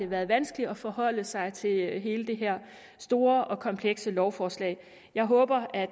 været vanskeligt at forholde sig til hele det her store og komplekse lovforslag jeg håber at